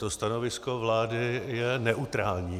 To stanovisko vlády je neutrální.